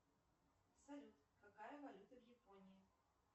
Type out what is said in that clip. салют какая валюта в японии